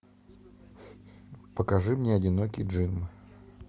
покажи мне одинокий джим